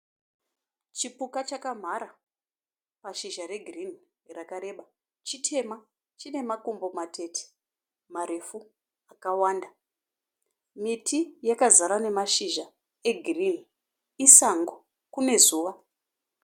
Chipuka chakamhara pashizha regirinhi rakareba. Chitema chine makumbo matete marefu akawanda. Miti yakazara nemashizha egirinhi. Isango, kune zuva.